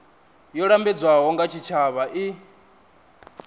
yo lambedzwaho nga tshitshavha i